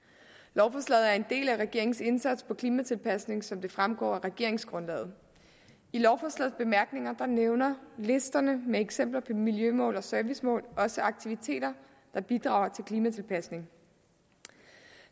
lovforslaget er en del af regeringens indsats inden for klimatilpasning som det fremgår af regeringsgrundlaget i lovforslagets bemærkninger nævnes listerne med eksempler på miljømål og servicemål og også aktiviteter der bidrager til klimatilpasning